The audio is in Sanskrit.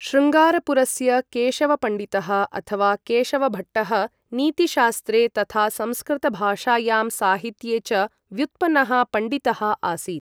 श्रृङ्गारपुरस्य केशव पण्डितः अथवा केशव भट्टः नीतिशास्त्रे तथा संस्कृतभाषायां साहित्ये च व्युत्पन्नः पण्डितः आसीत्।